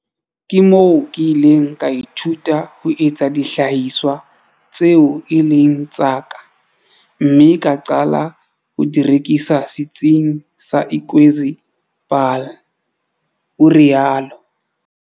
"Ke moo ke ileng ka ithuta ho etsa dihlahiswa tseo e leng tsa ka mme ka qala ho di rekisa Setsing sa Ikwezi Paarl," o rialo.